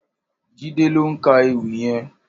Jide lò n kà Éwì yèn